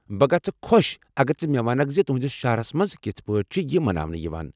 بہٕ گژھہٕ خۄش اگر ژٕ مےٚ وَنکھ زِ تہنٛدِس شہرَس مَنٛز کِتھہٕ پٲٹھۍ چھِ یہِ مناونہٕ یِوان۔